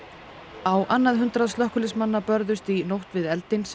á annað hundrað slökkviliðsmanna börðust í nótt við eldinn sem